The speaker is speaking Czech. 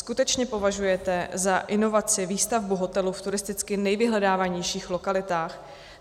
Skutečně považujete za inovaci výstavbu hotelu v turisticky nejvyhledávanějších lokalitách?